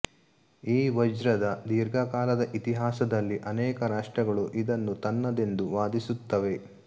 ಈ ವಜ್ರದ ದೀರ್ಘಕಾಲದ ಇತಿಹಾಸದಲ್ಲಿ ಅನೇಕ ರಾಷ್ಟ್ರಗಳು ಇದನ್ನು ತನ್ನದೆಂದು ವಾದಿಸುತ್ತವೆ